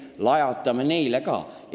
Lajatame neile ka!